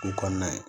O kɔnɔna ye